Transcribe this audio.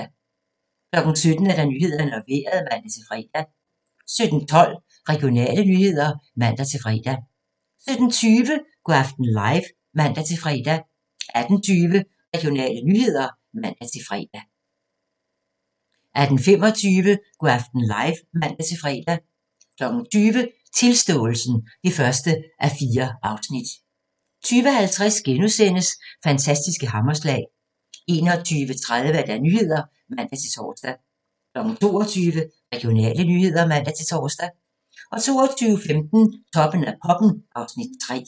17:00: Nyhederne og Vejret (man-fre) 17:12: Regionale nyheder (man-fre) 17:20: Go' aften live (man-fre) 18:20: Regionale nyheder (man-fre) 18:25: Go' aften live (man-fre) 20:00: Tilståelsen (1:4) 20:50: Fantastiske hammerslag * 21:30: Nyhederne (man-tor) 22:00: Regionale nyheder (man-tor) 22:15: Toppen af poppen (Afs. 3)